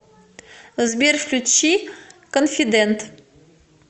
сбер включи конфидент